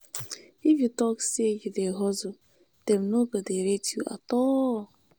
if you tok sey you dey hustle dem no go rate you at all.